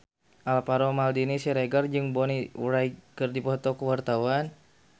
Alvaro Maldini Siregar jeung Bonnie Wright keur dipoto ku wartawan